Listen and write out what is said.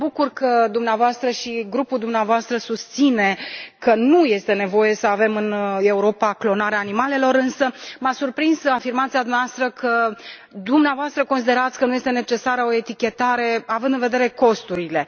Mă bucur că dumneavoastră și grupul dumneavoastră susțineți că nu este nevoie să avem în Europa clonarea animalelor, însă m-a surprins afirmația dumneavoastră că dumneavoastră considerați că nu este necesară o etichetare având în vedere costurile.